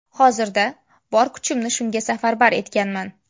Hozirda bor kuchimni shunga safarbar etganman.